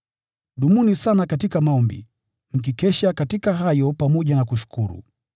Dumuni sana katika maombi, mkikesha katika hayo pamoja na kushukuru.